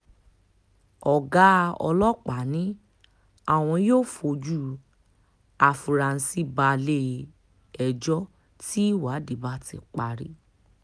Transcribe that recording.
ọ̀gá ọlọ́pàá ni àwọn yóò fojú àfurasí balẹ̀ um ẹjọ́ tí ìwádìí bá ti um parí